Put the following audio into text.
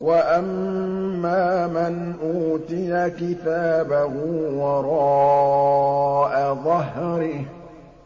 وَأَمَّا مَنْ أُوتِيَ كِتَابَهُ وَرَاءَ ظَهْرِهِ